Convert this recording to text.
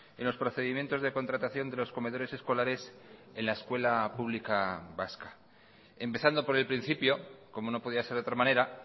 en los procedimientos de contratación de los comedores escolares en la escuela pública vasca empezando por el principio como no podía ser de otra manera